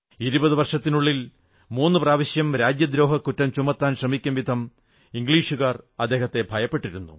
ഇരുപതു വർഷത്തിനുള്ളിൽ മൂന്നു പ്രാവശ്യം രാജ്യദ്രോഹക്കുറ്റം ചുമത്താൻ ശ്രമിക്കും വിധം ഇംഗ്ലീഷുകാർ അദ്ദേഹത്തെ ഭയപ്പെട്ടിരുന്നു